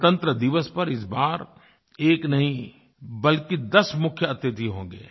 गणतंत्रदिवस पर इस बार एक 1 नहीं बल्कि दस 10 मुख्य अतिथि होंगे